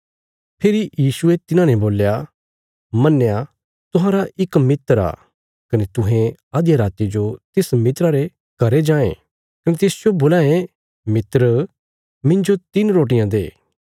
फेरी यीशुये तिन्हाने बोल्या मन्नया तुहांरा इक मित्र आ कने तुहें अधिया राति जो तिस मित्रा रे घरें जांये कने तिसजो बोलां ये मित्र मिन्जो तिन्न रोटियां दे